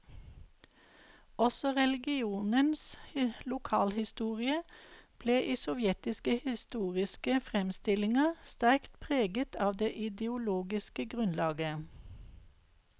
Også regionens lokalhistorie ble i sovjetiske historiske framstillinger sterkt preget av det ideologiske grunnlaget.